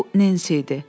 Bu Nensi idi.